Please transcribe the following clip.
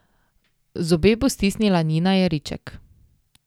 Zobe bo stisnila Nina Jeriček.